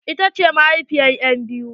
Ita ce mahaifiyar en biyu?